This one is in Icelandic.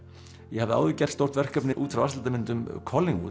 ég hafði áður gert stórt verkefni út frá vatnslitamyndum